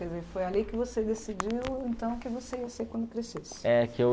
Foi ali que você decidiu, então, que você ia ser quando crescesse.